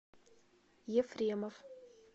ефремов